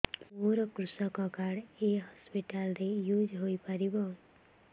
ମୋର କୃଷକ କାର୍ଡ ଏ ହସପିଟାଲ ରେ ୟୁଜ଼ ହୋଇପାରିବ